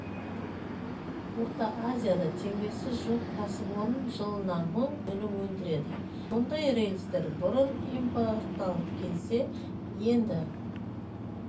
орта азияда теңдесі жоқ кәсіпорын жылына мың тонна өнім өндіреді мұндай рельстер бұрын импортталып келсе енді